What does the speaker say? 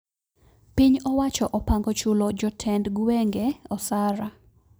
Piny owacho opango chulo joteend gwenge osara